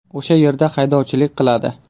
O‘sha yerda haydovchilik qiladi.